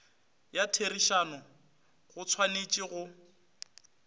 ya therišano go tshwanetše go